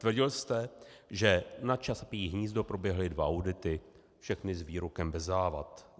Tvrdil jste, že na Čapí hnízdo proběhly dva audity, všechny s výrokem bez závad.